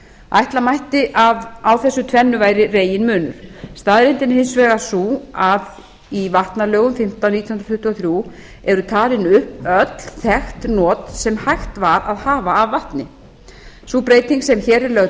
ætla mætti að á þessu tvennu væri reginmunur staðreyndin er hins vegar sú að í vatnalögum númer fimmtán nítján hundruð tuttugu og þrjú eru talin upp öll þekkt not sem hægt var að hafa af vatni sú breyting sem hér er lögð